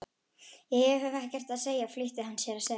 Ég hef ekkert að segja flýtti hann sér að segja.